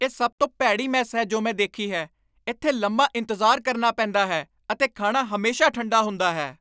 ਇਹ ਸਭ ਤੋਂ ਭੈੜੀ ਮੈੱਸ ਹੈ ਜੋ ਮੈਂ ਦੇਖੀ ਹੈ। ਇੱਥੇ ਲੰਮਾ ਇੰਤਜ਼ਾਰ ਕਰਨਾ ਪੈਂਦਾ ਹੈ ਅਤੇ ਖਾਣਾ ਹਮੇਸ਼ਾ ਠੰਡਾ ਹੁੰਦਾ ਹੈ।